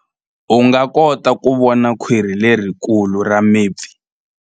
U nga kota ku vona khwiri lerikulu ra mipfi.